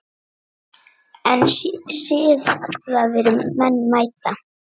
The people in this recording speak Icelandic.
En siðaðir menn mæta.